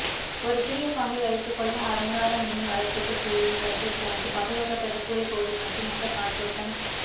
ஒரு சிறிய பாம்பை வைத்துக்கொள்ள அலங்கார மீன் வளர்ப்புக்கு செய்வது போன்று பாதுகாக்கப்பட்ட கூரைப்பகுதி மற்றும் நல்ல காற்றோட்டம்